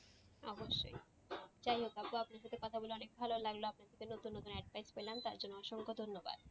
অবশ্যই যাই হোক আপু আপনার সাথে কথা বলে অনেক ভালো লাগলো আপনার কাছে নতুন নতুন advice পেলাম তার জন্য অসংখ্য ধন্যবাদ।